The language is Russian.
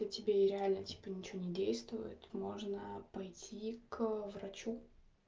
и тебе и реально типа ничего не действует можно пойти к врачу